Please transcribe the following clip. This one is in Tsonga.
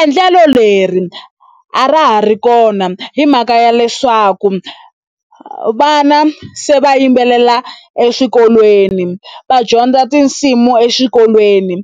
Endlelo leri a ra ha ri kona hi mhaka ya leswaku vana se va yimbelela eswikolweni va dyondza tinsimu exikolweni